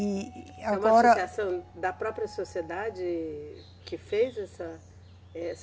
E agora. É uma associação da própria sociedade que fez essa? essa